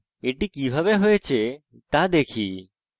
এটি কিভাবে হয়েছে দেখা যাক